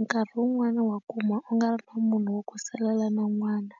nkarhi wun'wani wa kuma u nga ri na munhu wo ku salela na n'wana.